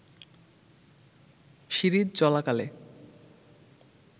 series চলাকালে